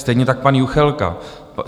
Stejně tak pan Juchelka.